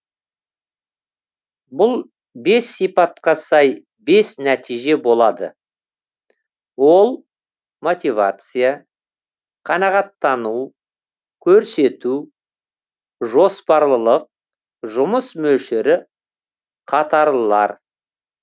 бұл бес сипатқа сай бес нәтиже болады олар мотивация қанағаттану көрсету жоспарлылық жұмыс мөлшері қатарлылар